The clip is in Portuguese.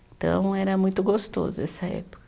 Então, era muito gostoso essa época.